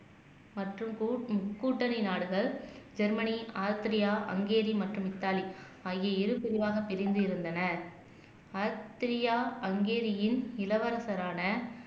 மற்றும் கூட் கூட்டணி நாடுகள் ஜெர்மனி ஆஸ்திரியா ஹங்கேரி மற்றும் இத்தாலி ஆகிய இரு பிரிவாக பிரிந்து இருந்தன பிரியா ஆஸ்திரியா ஹங்கேரியின் இளவரசரான